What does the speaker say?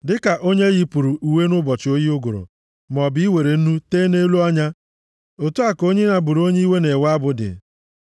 Dịka onye e yipụrụ uwe nʼụbọchị oyi ụgụrụ, maọbụ iwere nnu tee nʼelu ọnya, otu a ka onye na-abụrụ onye iwe na-ewe abụ dị.